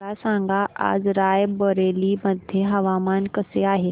मला सांगा आज राय बरेली मध्ये हवामान कसे आहे